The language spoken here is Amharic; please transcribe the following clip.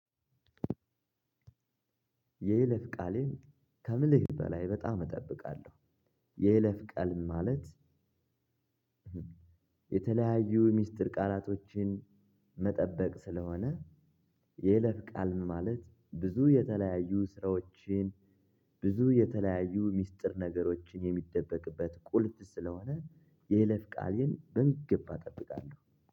የይለፍ ቃሌን ከምልህ በላይ በጣም እጠብቃለሁ። የይለፍ ቃል ማለት፣ የተለያዩ ሚስጥር ቃላቶችን መጠበቅ ስለሆነ የይለፍ ቃል ማለት ብዙ የተለያዩ ስራዎችን ብዙ የተለያዩ ሚስጥር ነገሮችን የሚደበቅበት ቁልፍ ስለሆነ የይለፍ ቃሌን በሚገባ እጠብቃለሁ።